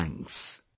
Many thanks